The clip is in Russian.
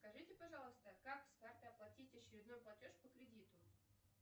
скажите пожалуйста как с карты оплатить очередной платеж по кредиту